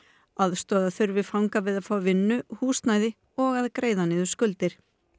aðstoða þurfi fanga við að fá vinnu húsnæði og að greiða niður skuldir